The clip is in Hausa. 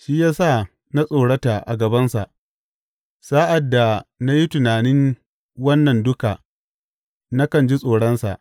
Shi ya sa na tsorata a gabansa; sa’ad da na yi tunanin wannan duka, nakan ji tsoronsa.